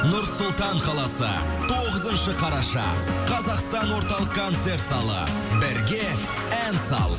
нұр сұлтан қаласы тоғызыншы қараша қазақстан орталық концерт залы бірге ән сал